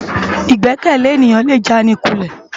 Igbèkèlé éniyán lé jánikúlè